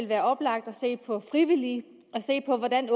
være oplagt at se på frivillige og se på hvordan